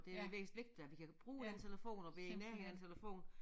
Det er vigtigt at vi kan bruge den telefon og vi i nærheden af æ telefon